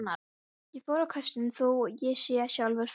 Ég fór á kostum, þó ég segi sjálfur frá.